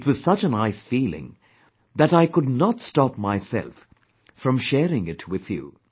It was such a nice feeling that I could not stop myself from sharing it with you